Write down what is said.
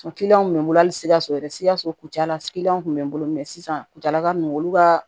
kun bɛ n bolo hali sikaso yɛrɛ sikaso kuncɛla silan kun bɛ n bolo mɛ sisan kuntaala ninnu olu ka